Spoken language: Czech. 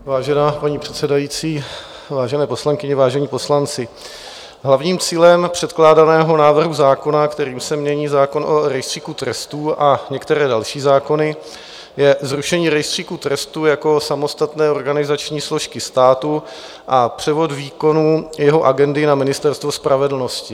Vážená paní předsedající, vážené poslankyně, vážení poslanci, hlavním cílem předkládaného návrhu zákona, kterým se mění zákon o Rejstříku trestů a některé další zákony, je zrušení Rejstříku trestů jako samostatné organizační složky státu a převod výkonu jeho agendy na Ministerstvo spravedlnosti.